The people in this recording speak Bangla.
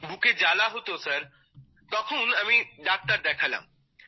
বুক জ্বালা হত স্যার তখন আমি ডাক্তার দেখালাম